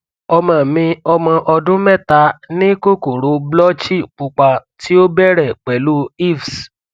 ọmọ mi ọmọ ọdun mẹta ni kokoro blotchy pupa ti o bẹrẹ pẹlu hives